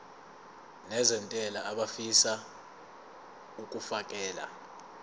nezentela abafisa uukfakela